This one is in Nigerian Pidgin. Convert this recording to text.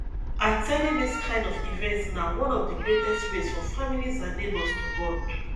at ten ding this kind of events na one of the greatest ways for families and neighbours to bond